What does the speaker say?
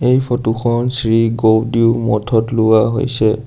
এই ফটো খন শ্ৰী গৌডিও মঠত লোৱা হৈছে।